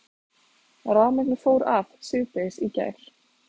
Rafmagnið fór af síðdegis í gær